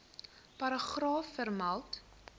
paragraaf vermeld